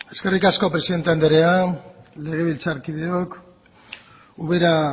eskerrik asko presidente andrea legebiltzar kideok ubera